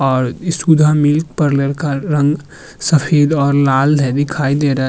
और इस सुधा मिल्क पर लड़का रंग सफेद और लाल है दिखाई दे रहा --